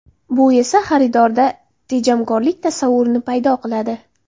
Bu esa xaridorda tejamkorlik tasavvurini paydo qiladi.